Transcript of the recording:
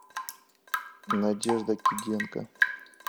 надежда киденко